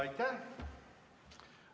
Aitäh!